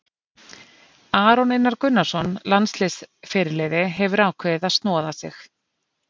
Aron Einar Gunnarsson, landsliðsfyrirliði, hefur ákveðið að snoða sig.